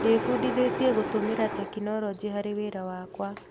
Ndĩbundithĩtie gũtũmĩra tekinoronjĩ harĩ wĩra wakwa.